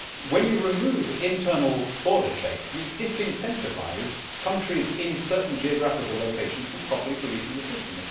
When you remove internal border checks you disincentivise countries in certain geographical locations from properly policing the system.